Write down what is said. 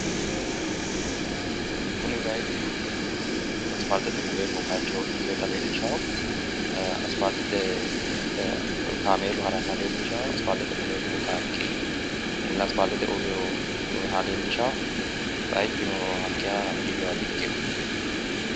kuni bayiichu aspaaltete mule ikkinota leellishanno ee aspaaltete kaameelu haranna leellishshanno inpaaltete mule noo qaaqqi aspaaltete uurrinoha leellishanno bayiichuno hakkeeshsha biifinoha di ikkino.